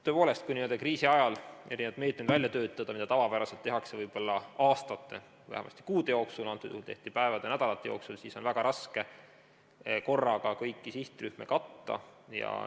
Tõepoolest, kui kriisi ajal erinevaid meetmeid välja töötada, mida tavapäraselt tehakse võib-olla aastate, vähemasti kuude jooksul, aga praegu on seda tehtud päevade ja nädalatega, siis on väga raske korraga kõiki sihtrühmi katta.